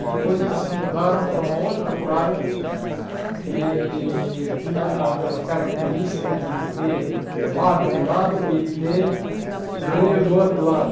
E depois eles se mudaram para uma outra praia que tinha as as características de ter mar de um lado e ter rio do outro lado.